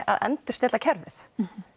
að endurstilla kerfið